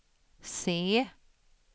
se